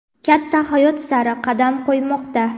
katta hayot sari qadam qo‘ymoqda.